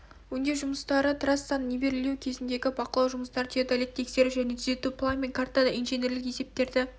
өңдеу жұмыстары трассаны нивелирлеу кезіңдегі бақылау жұмыстары теодолитті тексеру және түзету план мен картада инженерлік есептерді